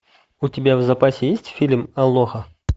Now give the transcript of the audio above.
у тебя в запасе есть фильм алоха